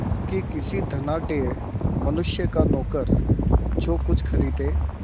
कि किसी धनाढ़य मनुष्य का नौकर जो कुछ खरीदे